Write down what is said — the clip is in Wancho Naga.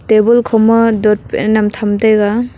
table khoma dotpain am tham taega.